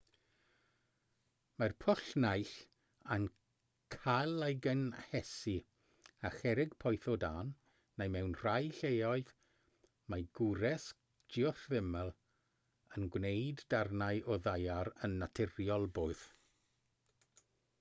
mae'r pwll naill ai'n cael ei gynhesu â cherrig poeth o dân neu mewn rhai lleoedd mae gwres geothermol yn gwneud darnau o ddaear yn naturiol boeth